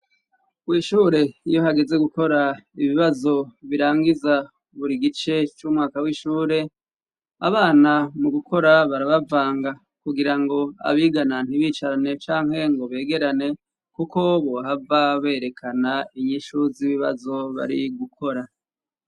KWishure iyo hageze gukora ibibazo birangiza buri gice c'umwaka w'ishure abana mu gukora barabavanga kugira ngo abigana ntibicarane canke ngo begerane, kuko bohava berekana inyishu z'ibibazo bari gukora.